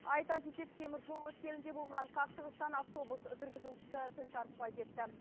айта кетейік теміржол өткелінде болған қақтығыстан автобус жүргізушісі тіл тартпай кетті